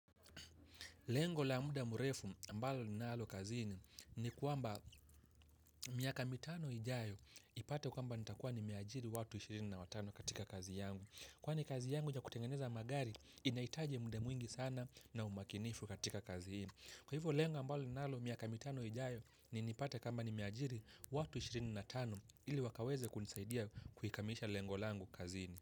Lengo la muda murefu ambalo ninalo kazini ni kwamba miaka mitano ijayo ipate kama nitakuwa nimeajiri watu ishirini na tano katika kazi yangu. Kwani kazi yangu ya kutengeneza magari inahitaji muda mwingi sana na umakinifu katika kazini. Kwa hivyo lengo ambalo ninalo miaka mitano ijayo ni nipate kama nimeajiri watu ishirini na tano ili wakaweze kunisaidia kukamilisha lengo langu kazini.